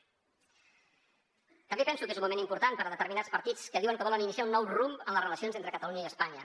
també penso que és un moment important per a determinats partits que diuen que volen iniciar un nou rumb en les relacions entre catalunya i espanya